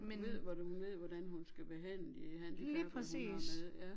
Hun ved hun ved hvordan hun skal behandle de handicappede hun har med ja